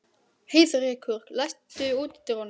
Heiðrekur, læstu útidyrunum.